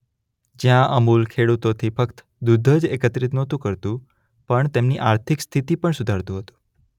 જ્યાં અમૂલ ખેડુતોથી ફક્ત દૂધ જ એકત્રિત નહોતું કરતું પણ તેમની આર્થિક સ્થિતિ પણ સુધારતુ હતું.